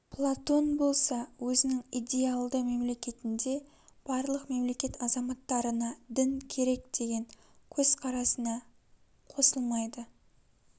платон болса өзінің идеялды мемлекетінде барлық мемлекет азаматтарына дін керек деген көзқарасына қосылмайды